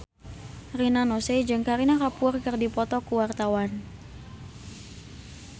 Rina Nose jeung Kareena Kapoor keur dipoto ku wartawan